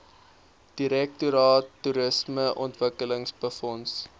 direktoraat toerismeontwikkeling befonds